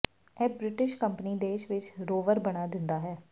ਇਹ British company ਦੇਸ਼ ਵਿਚ ਰੋਵਰ ਬਣਾ ਦਿੰਦਾ ਹੈ